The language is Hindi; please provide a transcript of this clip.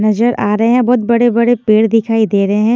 नजर आ रहे हैं बहुत बड़े-बड़े पेड़ दिखाई दे रहे हैं ।